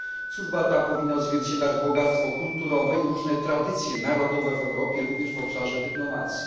Służba ta powinna odzwierciedlać bogactwo kulturowe i różne tradycje narodowe w Europie, również w obszarze dyplomacji.